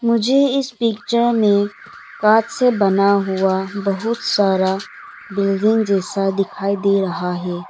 मुझे इस पिक्चर में कांच से बना हुआ बहुत सारा बिल्डिंग जैसा दिखाई दे रहा है।